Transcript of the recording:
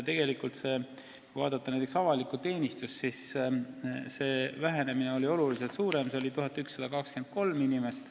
Tegelikult kui vaadata avalikku teenistust, siis see vähenemine oli oluliselt suurem: see oli 1123 inimest.